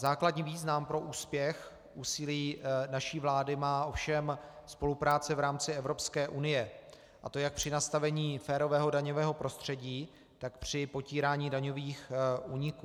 Základní význam pro úspěch úsilí naší vlády má ovšem spolupráce v rámci Evropské unie, a to jak při nastavení férového daňového prostředí, tak při potírání daňových úniků.